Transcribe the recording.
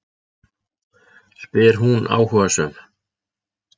spyr hún áhugasöm.